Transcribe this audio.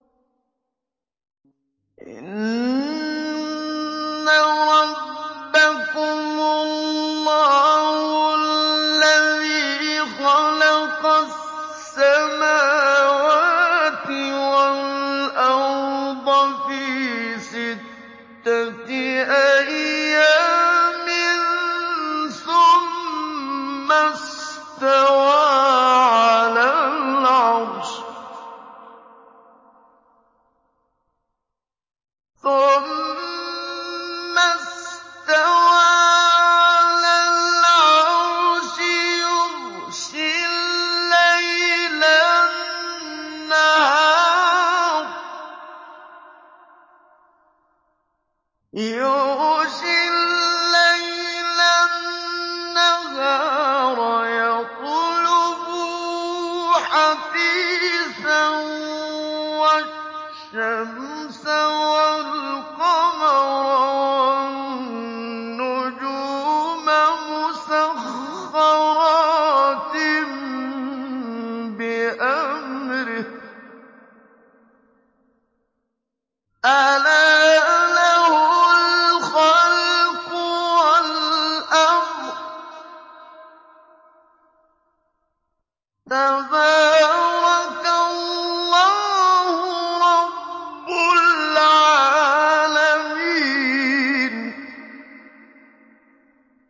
إِنَّ رَبَّكُمُ اللَّهُ الَّذِي خَلَقَ السَّمَاوَاتِ وَالْأَرْضَ فِي سِتَّةِ أَيَّامٍ ثُمَّ اسْتَوَىٰ عَلَى الْعَرْشِ يُغْشِي اللَّيْلَ النَّهَارَ يَطْلُبُهُ حَثِيثًا وَالشَّمْسَ وَالْقَمَرَ وَالنُّجُومَ مُسَخَّرَاتٍ بِأَمْرِهِ ۗ أَلَا لَهُ الْخَلْقُ وَالْأَمْرُ ۗ تَبَارَكَ اللَّهُ رَبُّ الْعَالَمِينَ